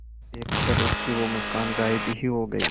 देखकर उसकी वो मुस्कान गायब ही हो गयी